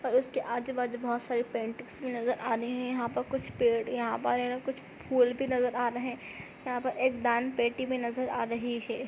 Or उसके आजू -बाजू बहुत सारे पेंटिंग्स भी नजर आ रहे है यहा पर कुछ पेड़ यहाँ पर कुछ फूल भी नजर आ रहे है यहा पर एक दान पेटी भी नजर आ रही है।